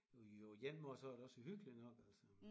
Jo og på én måde er det også hyggeligt nok altså